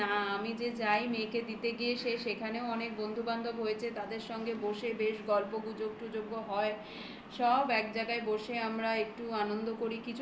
না রে না আমি যে যাই মেয়েকে দিতে গিয়ে সে সেখানেও অনেক বন্ধু বান্ধব হয়েছে তাদের সঙ্গে বসে বেশ গল্প গুজব টুজব ও হয় এক জায়গায় বসে আমরা একটু আনন্দ করি.